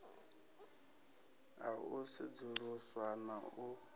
ha u sedzuluswa na u